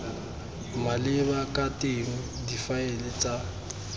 maleba ka teng difaele tsa